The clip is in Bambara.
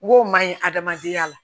N go ma ɲi adamadenya la